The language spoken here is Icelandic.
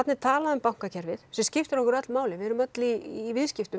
er talað um bankakerfið sem skiptir okkur öll máli við erum öll í í viðskiptum